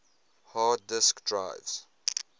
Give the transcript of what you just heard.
hard disk drives